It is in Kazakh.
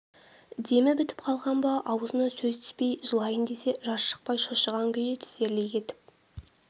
демі бітіп қалған ба аузына сөз түспей жылайын десе жас шықпай шошыған күйі тізерлей кетіп